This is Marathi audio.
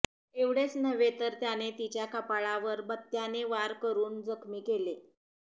एवढेच नव्हे तर त्याने तिच्या कपाळावर बत्त्याने वार करून जखमी केले